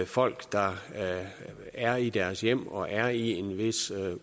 folk der er i deres hjem og er i en vis